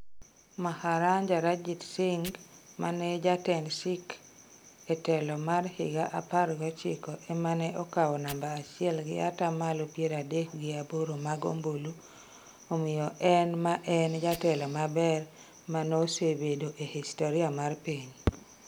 Maharanja Ranjit Singh mane jatend Sikh e telo mar higa apar gochiko ema ne okao namba achiel gi ataa malo piero adek gi aboro mag ombulu, omiyo en ma en jatelo maber maneosebedo e hisoria mar piny.